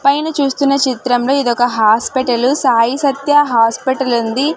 పైన చూస్తున్న చిత్రంలో ఇది ఒక హాస్పిటల్ సాయి సత్య హాస్పిటల్ ఉంది.